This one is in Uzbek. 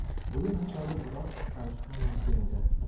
O‘yin hisobi biroz qisqarishi ham mumkin edi.